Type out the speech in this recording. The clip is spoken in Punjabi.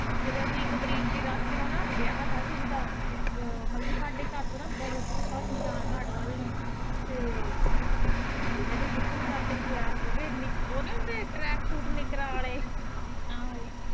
ਫਿਰ ਅਸੀਂ ਵਿਆਹ ਤਾ ਕਿਸੇ ਦਾ ਮਤਲਬ ਕੇ ਸਾਡੇ ਘਰ ਤੋਂ ਬਹੁਤ ਦੂਰ ਤਾ ਸ਼ਮਸ਼ਾਨ ਘਾਟ ਵੱਲ ਨੂੰ ਤੇ ਮੈਂ ਤੇ ਸ਼ਿਬੂ ਤਿਆਰ ਹੋ ਗੇ ਓ ਨੀ ਹੁੰਦੇ ਟਰੈਕ ਸੂਟ ਨਿਕਰਾਂ ਆਲੇ